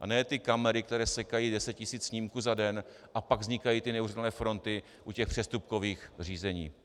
A ne ty kamery, které sekají deset tisíc snímků za den, a pak vznikají ty neuvěřitelné fronty u těch přestupkových řízení.